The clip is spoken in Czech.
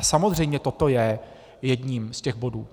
A samozřejmě toto je jedním z těch bodů.